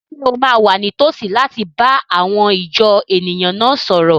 Ṣé o máa wà ní tòsí láti bá àwọn ìjọ èèyàn náà sọ̀rọ̀?